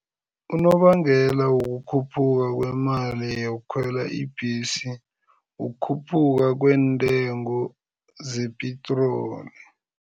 Unobangela wokukhuphuka kwemali yokukhwela ibhesi, ukukhuphuka kweentengo zepitroli.